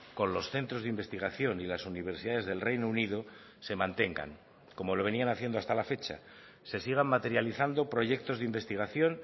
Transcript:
con los centros de investigación y las universidades del reino unido se mantengan como lo venían haciendo hasta la fecha se sigan materializando proyectos de investigación